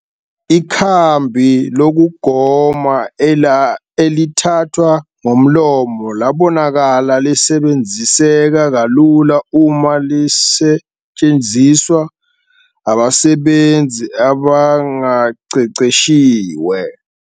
Ikhambi lokugoma elithathwa ngomlomo labonakala lisebenziseka kalula uma lisetshenziswa abasebenzi abangaqeqeshiwe.